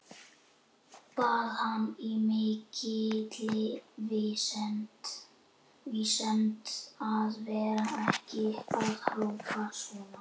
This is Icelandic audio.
Bað hann í mikilli vinsemd að vera ekki að hrópa svona.